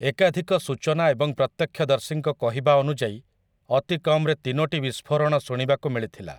ଏକାଧିକ ସୂଚନା ଏବଂ ପ୍ରତ୍ୟକ୍ଷଦର୍ଶୀଙ୍କ କହିବା ଅନୁଯାୟୀ, ଅତିକମ୍‍‍ରେ ତିନୋଟି ବିସ୍ଫୋରଣ ଶୁଣିବାକୁ ମିଳିଥିଲା ।